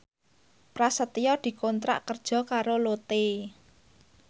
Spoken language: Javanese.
Prasetyo dikontrak kerja karo Lotte